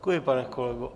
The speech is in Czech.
Děkuji, pane kolego.